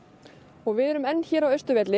og við erum enn hér á Austurvelli